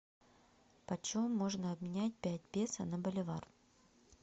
по чем можно обменять пять песо на боливар